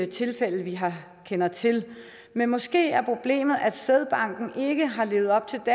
tilfælde vi kender til men måske er problemet at sædbanken ikke har levet op til